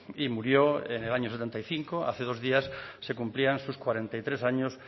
y murió en el año setenta y cinco hace dos días se cumplían sus cuarenta y tres años